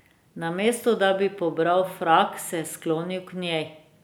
Namesto da bi pobral frak, se je sklonil k njej.